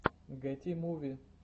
гети муви